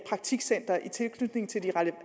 praktikcenter i tilknytning til de